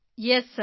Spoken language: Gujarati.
yes sir